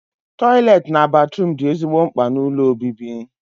Tọiletị na batruum dị ezigbo mkpa n'ụlọ obibi